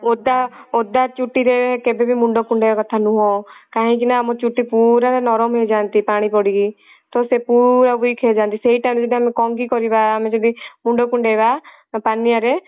ଓଦା ଓଦା ଚୁଟି ରେ କେବେ ବି ମୁଣ୍ଡ କୁଣ୍ଡେଇବା କଥା ନୁହେଁ କାହିଁକି ନା ଆମ ଚୁଟି ପୁରା ନରମ ହେଇଯାଆନ୍ତି ପାଣି ପଡିକି ତ ସେ ପୁରା weak ହେଇ ଯାଆନ୍ତି ତ ସେଇ time ରେ ଯଦି ଆମେ କଙ୍ଗୀ କରିବା ଆମେ ଯଦି ମୁଣ୍ଡ କୁଣ୍ଡେଇବା ତ ପାନିଆ ରେ